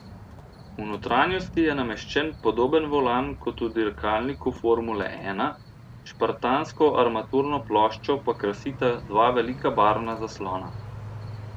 V notranjosti je nameščen podoben volan kot v dirkalniku formule ena, špartansko armaturno ploščo pa krasita dva velika barvna zaslona.